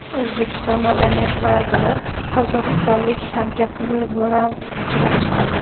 O‘zbekiston madaniyat vaziri qozog‘istonlik hamkasbi bilan uchrashdi.